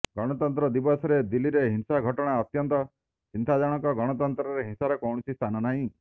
ଗଣତନ୍ତ୍ର ଦିବସରେ ଦିଲ୍ଲୀରେ ହିଂସା ଘଟଣା ଅତ୍ୟନ୍ତ ଚିନ୍ତାଜନକ ଗଣତନ୍ତ୍ରରେ ହିଂସାର କୌଣସି ସ୍ଥାନ ନାହିଁ